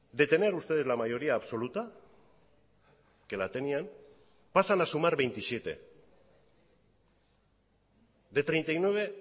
de tener ustedes la mayoría absoluta que la tenían pasan a sumar veintisiete de treinta y nueve